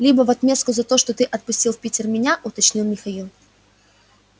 либо в отместку за то что ты отпустил в питер меня уточнил михаил